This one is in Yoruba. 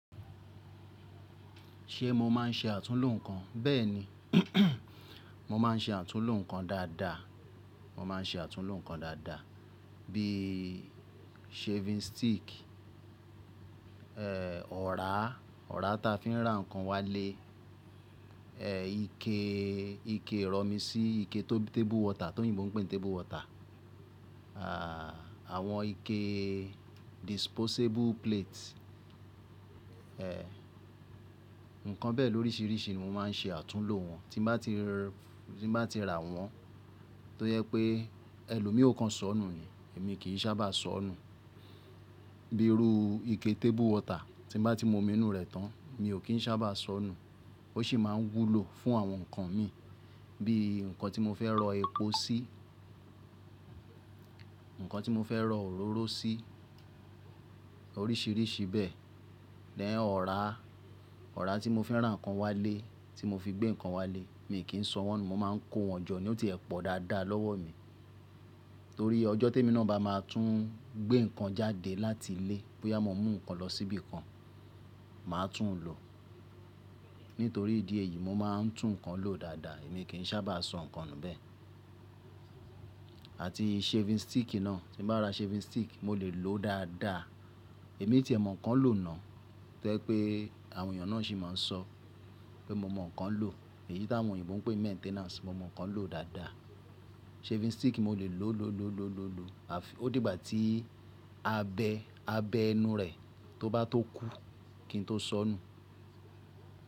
Ṣe mo máa ń ṣe àtúnlo nǹkan? Bẹ́ẹ̀ni, mo máa ń ṣe àtúnlo nǹkan dáadáa, mo máa ń ṣe àtúnlo nǹkan dáadáa bíi shaving stick, ẹ́, ọ̀rá, ọ̀rá ta fi ń rà ǹkan wálé, ẹ, ike, ike ìrọ̀mi sí ike tó bí table water, tóyinbo n pè n table water. Àwọn ike disposable plate, ǹkan bẹ́ẹ̀ lóríṣiríṣi ni mo máa ń ṣe àtúnlo wọn, tí n bá ti r, tí n bá ti rà wọ́n, tó yẹ pé ẹlòmíò kan sọ nù yẹn èmi kì í sábà sọ nù. Bíi irú ike table water tí n bá ti mu omi inú rẹ̀ tán, mi ò kí ń ṣábà sọ nù. Ó ṣì máa ń wúlò fún àwọn ǹkan mi bíi ǹkan tí mo fẹ́ rọ epo sí, ǹkan tí mo fẹ́ rọ òróró sí, oríṣiríṣi bẹ́ẹ̀. Then Ọ̀rá, ọ̀rá tí mo fẹ́ rà ǹkan wálé, tí mo fi gbé ǹkan wálé, mi kí ń sọ wọ́n nù. Mo máa ń kó wọn jọ ni, ó ti ẹ pọ̀ dáadáa lọ́wọ́ mi. Torí ọjọ́ tèmi nà bá máa tún gbé ǹkan jáde láti ilé, bóyá mo mú ǹkan lọ síbi kan, màá tún lò. Nítorí ìdí èyí mo máa ń tún ǹkan lò dáadáa, èmi kì í ṣábà sọ ǹkan nù bẹ́ẹ̀. Àti shaving stick náà, tí bá ra shaving stick, mo lè lò ó dáadáa. Èmi tí ẹ mọ̀ nkan lò náà tó jẹ́ pé àwọn èèyàn náà sì máa ń sọ pé mo mọ̀ nkan lò. Èyí tí àwọn òyìnbó n pè maintenance, mo mọ̀ nkan lò dáadáa. Shaving stick mo lè lò lò lò lò lò lò. Ó dìgbà tí abẹ, abẹ́ inú rẹ̀ tó bá tó kú kí n tó sọ nù.